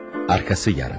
Arkası yarın.